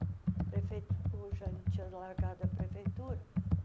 O prefeito já tinha largado a prefeitura.